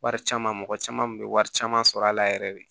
Wari caman mɔgɔ caman kun bɛ wari caman sɔrɔ a la yɛrɛ yɛrɛ de